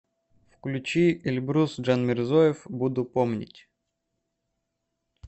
включи эльбрус джанмирзоев буду помнить